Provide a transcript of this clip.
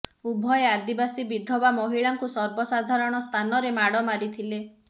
ଉଭୟେ ଆଦିବାସୀ ବିଧବା ମହିଳାଙ୍କୁ ସର୍ବସାଧାରଣ ସ୍ଥାନରେ ମାଡ଼ ମାରିଥିଲେ